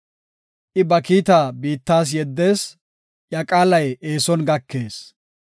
I ba kiitaa biittas yeddees; iya qaalay eeson gakees.